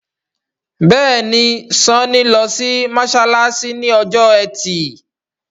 Béèni Sanni ló sì masalasi ní Ọjọ́ Ẹti.